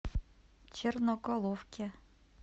черноголовке